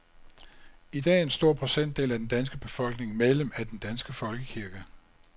I dag er en stor procentdel af den danske befolkning medlem af den danske folkekirke.